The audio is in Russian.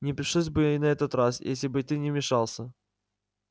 не пришлось бы и на этот раз если бы ты не вмешался